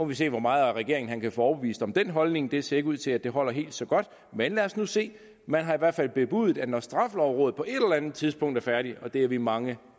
vi se hvor meget af regeringen han kan få overbevist om den holdning det ser ikke ud til at det holder helt så godt men lad os nu se man har i hvert fald bebudet at når straffelovrådet på et eller andet tidspunkt er færdige og det er vi mange